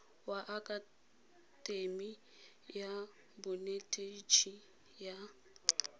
wa akatemi ya bonetetshi ya